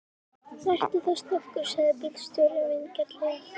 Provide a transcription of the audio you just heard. Vertu þá snöggur, sagði bílstjórinn vingjarnlega.